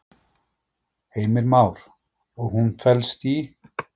Heimir Már: Og hún felst í?